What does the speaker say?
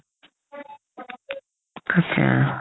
তাকেই আৰু